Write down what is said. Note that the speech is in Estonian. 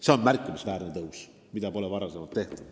See on märkimisväärne tõus, mida ei ole varem tehtud.